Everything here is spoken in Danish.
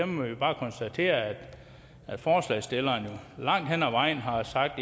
må vi bare konstatere at forslagsstillerne jo langt hen ad vejen har sagt at